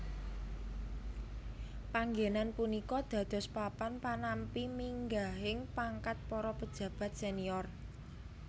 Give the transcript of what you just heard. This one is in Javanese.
Panggenan punika dados papan panampi minggahing pangkat para pejabat senior